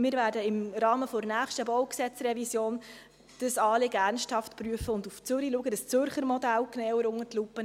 Wir werden dieses Anliegen im Rahmen der nächsten BauG-Revision ernsthaft prüfen und nach Zürich schauen, um das Zürcher Modell genauer unter die Lupe zu nehmen.